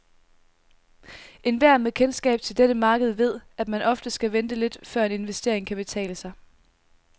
Enhver med kendskab til dette marked ved, at man ofte skal vente lidt, før en investering kan betale sig.